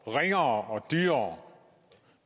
ringere og dyrere